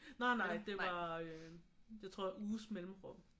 Nej nej det var jeg tror uges mellemrum